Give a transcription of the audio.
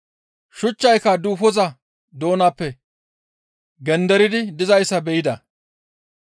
Shuchchayka duufoza doonappe genderidi dizayssa be7ida.